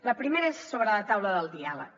la primera és sobre la taula del diàleg